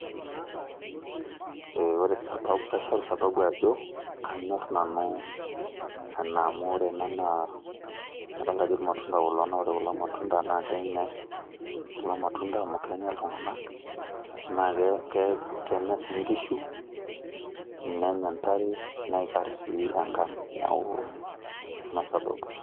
ore, kaishoru sababu ajo kanyor nanu ena amu, ore ena naa kadoolta ajo ir matunda klo, naa ore kulo matunda kenyae kulo matunda amu kenya ltunganak naa kenya sii nkishu, nenya ntare, neikar sii enkang'.neeku ina sababu.